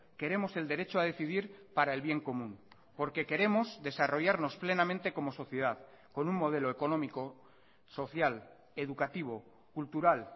queremos el derecho a decidir para el bien común porque queremos desarrollarnos plenamente como sociedad con un modelo económico social educativo cultural